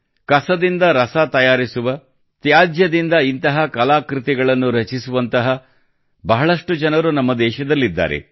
ಕಸದಿಂದ ರಸ ತಯಾರಿಸುವ ತ್ಯಾಜ್ಯದಿಂದ ಇಂತಹ ಕಲಾಕೃತಿಗಳನ್ನು ರಚಿಸುವಂತಹ ಬಹಳಷ್ಟು ಜನರು ನಮ್ಮ ದೇಶದಲ್ಲಿದ್ದಾರೆ